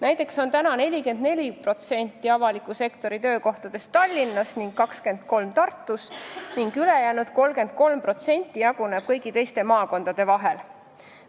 Näiteks on praegu 44% avaliku sektori töökohtadest Tallinnas ja 23% Tartus ning ülejäänud 33% jaguneb kõigi teiste maakondade vahel.